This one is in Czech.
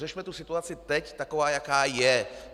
Řešme tu situaci teď, takovou, jaká je!